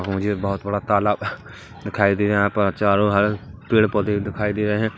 मुझे बहोत बड़ा तालाब दिखाई दिए है यहाँ पर चारों ओर पेड़-पोधे दिखाई दे रहे है।